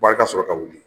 Wari ka sɔrɔ ka wuli